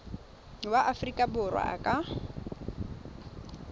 wa aforika borwa a ka